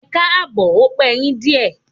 Ẹkáàbọ̀, ó pe yín díè.